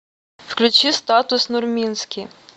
включи статус нурминский